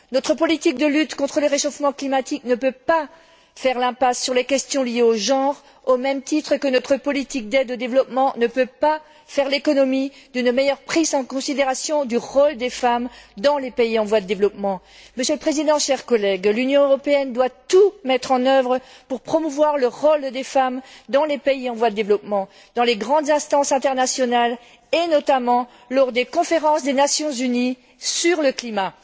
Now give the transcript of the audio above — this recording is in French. Notre politique de lutte contre le réchauffement climatique ne peut pas faire l'impasse sur les questions liées au genre, au même titre que notre politique d'aide au développement, ne peut pas faire l'économie d'une meilleure prise en considération du rôle des femmes dans les pays en voie de développement. Monsieur le Président, chers collègues, l'Union européenne doit tout mettre en œuvre pour promouvoir le rôle des femmes dans les pays en voie de développement, dans les grandes instances internationales et, notamment, lors des conférences des Nations unies sur le climat.